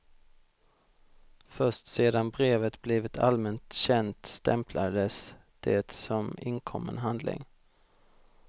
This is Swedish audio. Först sedan brevet blivit allmänt känt stämplades det som inkommen handling.